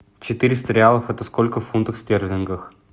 четыреста реалов это сколько в фунтах стерлингов